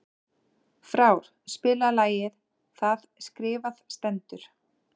Frár, spilaðu lagið „Það skrifað stendur“.